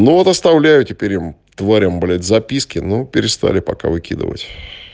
ну вот оставляю теперь им тварям блять записки ну перестали пока выкидывать